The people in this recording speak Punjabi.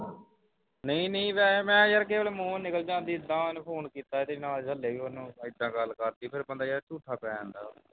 ਨਹੀਂ ਨਹੀਂ ਵੈਸੇ ਯਾਰ ਮੈਂ ਕਿਸੇ ਵੇਲੇ ਮੂੰਹੋਂ ਨਿਕਲ ਜਾਂਦੀ ਹੈ ਇਹਦਾਂ ਉਸ ਨੇ ਮੈਨੂੰ ਫੋਨ ਕੀਤਾ ਤੇ ਹਾਲੇ ਵੀ ਉਸਨੂੰ ਇਹਦਾਂ ਗੱਲ ਕਰਦੀ ਫੇਰ ਬੰਦਾ ਯਾਰ ਝੂਠਾ ਭਰਿਆ ਜਾਂਦਾ ਹੈ